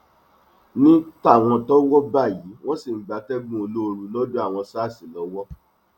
ní tàwọn tọwọ bá yìí wọn ṣì ń gbatẹgùn olóoru lọdọ àwọn sars lọwọ